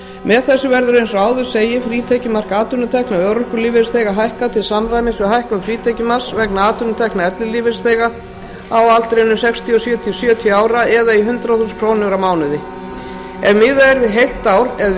með þessu verður eins og áður segir frítekjumark atvinnutekna örorkulífeyrisþega hækkað til samræmis við hækkun frítekjumarks vegna atvinnutekna ellilífeyrisþega á aldrinum sextíu og sjö til sjötíu ára eða í hundrað þúsund krónur á mánuði ef miðað er við heilt ár